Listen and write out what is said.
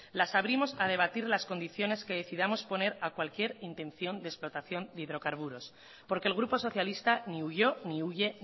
las abrimos a debatir las condiciones que decidamos poner a cualquier intención de explotación de hidrocarburos porque el grupo socialista ni huyó ni huye